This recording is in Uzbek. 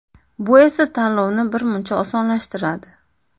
Bu esa tanlovni birmuncha osonlashtiradi.